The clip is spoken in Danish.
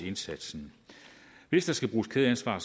indsatsen hvis der skal bruges kædeansvar